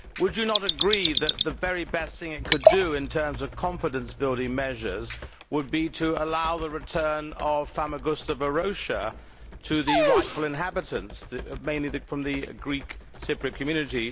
Would you not agree that the very best thing it could do in terms of confidence building measures would be to allow the return of Famagusta Varosha to its rightful inhabitants, who are mainly from the Greek Cypriot community?